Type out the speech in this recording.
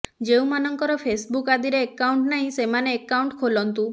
ଯେଉଁମାନଙ୍କର ଫେସ୍ବୁକ୍ ଆଦିରେ ଏକାଉଣ୍ଟ୍ ନାହିଁ ସେମାନେ ଏକାଉଣ୍ଟ୍ ଖୋଲନ୍ତୁ